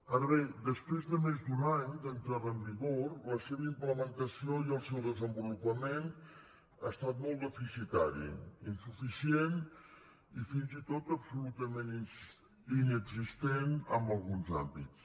ara bé després de més d’un any d’entrada en vigor la seva implementació i el seu desenvolupament ha estat molt deficitari insuficient i fins i tot absolutament inexistent en alguns àmbits